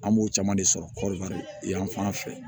An b'o caman de sɔrɔ kɔri yanfan fɛ